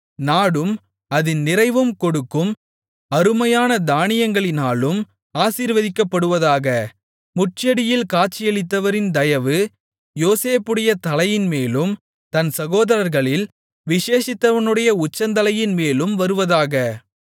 நாடும் அதின் நிறைவும் கொடுக்கும் அருமையான தானியங்களினாலும் ஆசீர்வதிக்கப்படுவதாக முட்செடியில் காட்சியளித்தவரின் தயவு யோசேப்புடைய தலையின்மேலும் தன் சகோதரர்களில் விசேஷித்தவனுடைய உச்சந்தலையின்மேலும் வருவதாக